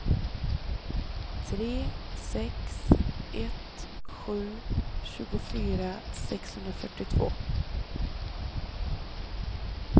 tre sex ett sju tjugofyra sexhundrafyrtiotvå